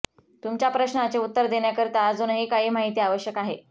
तुमच्या प्रश्नाचे उत्तर देण्याकरिता अजूनही काही माहिती आवश्यक आहे